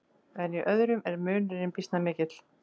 En í öðrum er munurinn býsna mikill.